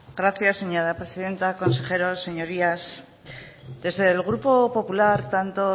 gracias señora presidenta consejeros señorías desde el grupo popular tanto